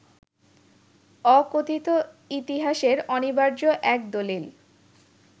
অকথিত ইতিহাসের অনিবার্য এক দলিল